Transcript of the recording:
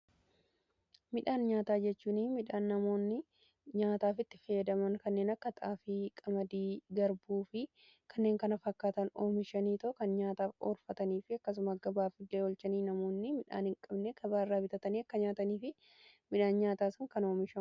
midhaan nyaataa jechuun midhaan namoonni nyaataaf itti fayyadaman kanneen akka xaafii, qamadii, garbuu fi kanneen kana fakkaatan oomishanii yookaan nyaataaf olfatanii fi akkasumas gabaa illee olchaniidha. namoonni midhaan hin qabne gabaa irraa bitatanii akka nyaataniif midhaan kan gargaarudha.